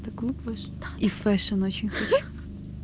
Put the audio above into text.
ившин очень хорошо